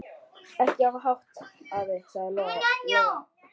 Ekki hafa hátt, afi, sagði Lóa Lóa.